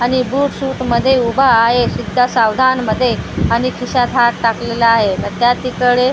आणि boot suit मध्ये उभा आहे सिद्धा सावधानमध्ये आणि खिशात हात टाकलेला आहे आता तिकडे रिसेप्शन --